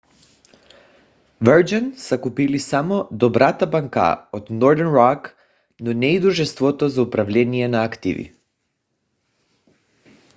virgin са купили само добрата банка от northern rock но не и дружеството за управление на активи